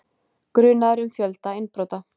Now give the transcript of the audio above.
Grunaður um fjölda innbrota